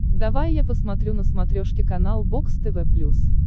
давай я посмотрю на смотрешке канал бокс тв плюс